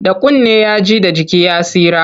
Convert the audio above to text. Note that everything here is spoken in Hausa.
Da kunne ya ji, da jiki ya tsira.